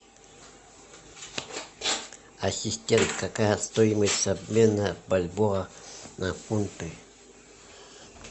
ассистент какая стоимость обмена бальбоа на фунты